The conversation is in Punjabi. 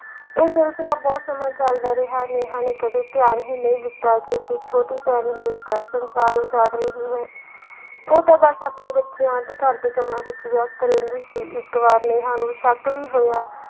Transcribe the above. ਇਹ ਸਿਲਸਿਲਾ ਬਹੁਤ ਸਮਾਂ ਚੱਲਦਾ ਰਿਹਾ ਨੇਹਾਂ ਨੇ ਕਦੇ ਧਿਆਨ ਹੀ ਨਹੀਂ ਦਿੱਤਾ ਕਿ ਉਸਦੀ ਛੋਟੀ ਭੈਣ ਹੀ ਉਸਦਾ ਸੰਸਾਰ ਉਜਾੜ ਰਹੀ ਹੈ ਉਹ ਤਾਂ ਬਸ ਆਪਣੇ ਬੱਚਿਆਂ ਤੇ ਘਰ ਦੇ ਕੰਮਾਂ ਵਿੱਚ ਵਿਅਸਤ ਰਹਿੰਦੀ ਸੀ ਇੱਕ ਵਾਰ ਨੇਹਾਂ ਨੂੰ ਸ਼ੱਕ ਵੀ ਹੋਇਆ,